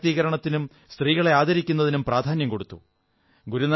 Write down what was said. സ്ത്രീ ശാക്തീകരണത്തിനും സ്ത്രീകളെ ആദരിക്കുന്നതിനും പ്രധാന്യം കൊടുത്തു